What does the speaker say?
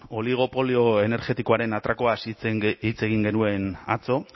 oligopolio energetikoaren atrakoaz hitz egin genuen atzo